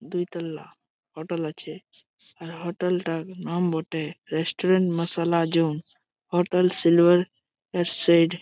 দুইতল্লা hotel আছে। আর hotel টার নাম বটে restaurant Masala zoom. Hotel silver